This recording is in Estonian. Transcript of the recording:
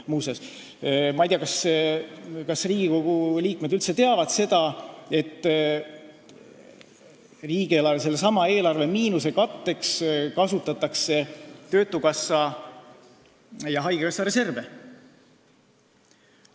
Ma ei tea, kas Riigikogu liikmed üldse teavad, et riigieelarve miinuse katteks kasutatakse töötukassa ja haigekassa reserve.